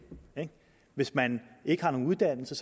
ikke hvis man ikke har nogen uddannelse